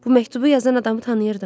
Bu məktubu yazan adamı tanıyırdım.